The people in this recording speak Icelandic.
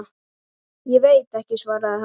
Ég veit ekki, svaraði hann.